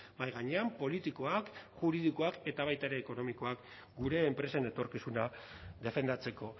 mahai gainean politikoak juridikoak eta baita ere ekonomikoak gure enpresen etorkizuna defendatzeko